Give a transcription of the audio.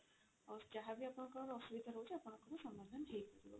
ଆଉ ଯାହା ବି ଆପଣଙ୍କ ଅସୁବିଧା ରହୁଛି ଆପଣଙ୍କର ସମାଧାନ ହେଇଯିବା